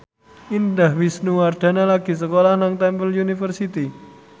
Indah Wisnuwardana lagi sekolah nang Temple University